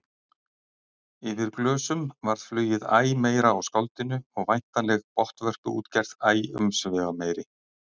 Yfir glösum varð flugið æ meira á skáldinu og væntanleg botnvörpuútgerð æ umsvifameiri.